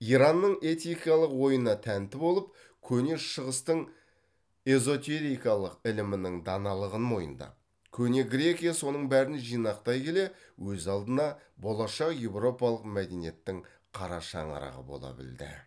иранның этикалық ойына тәнті болып көне шығыстың эзотерикалық ілімінің даналығын мойындап көне грекия соның бәрін жинақтай келе өз алдына болашақ европалық мәдениеттің қара шаңырағы бола білді